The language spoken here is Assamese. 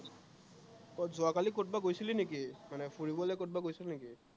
কত যোৱাকালি কৰবাত গৈছিলি নেকি, মানে ফুৰিবলে কৰবাত গৈছিলি নেকি?